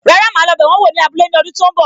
Rárá, ma lo bẹ wọn wò ní abúlé ní ọdún tó ń bọ̀.